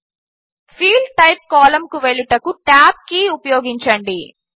field type కాలంకు వెళ్ళుటకు tab key ఉపయోగించండి